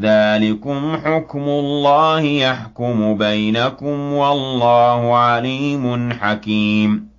ذَٰلِكُمْ حُكْمُ اللَّهِ ۖ يَحْكُمُ بَيْنَكُمْ ۚ وَاللَّهُ عَلِيمٌ حَكِيمٌ